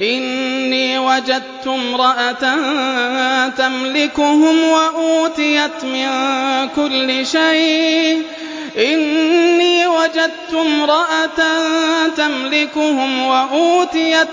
إِنِّي وَجَدتُّ امْرَأَةً تَمْلِكُهُمْ وَأُوتِيَتْ